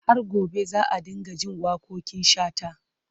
Har gobe za a dinga jin waƙoƙin Shata.